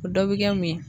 O dɔ bɛ kɛ mun ye